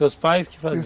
Seus pais que faziam?